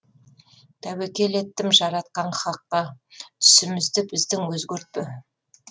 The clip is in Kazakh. тәуекел еттім жаратқан хаққа түсімізді біздің өзгертпе